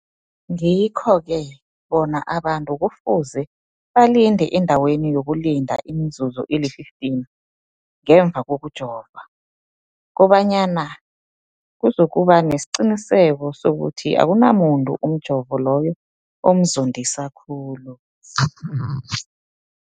Ngikho-ke boke abantu kufuze balinde endaweni yokulinda imizuzu eli-15 ngemva kokujova, koba nyana kuzokuba nesiqiniseko sokuthi akunamuntu umjovo loyo omzondisa khulu.